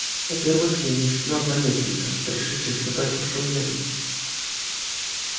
во-первых я не шпион наместника пришедший испытать вашу лояльность